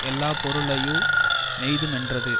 எல்லா பொருளையு மெய்துமென்றது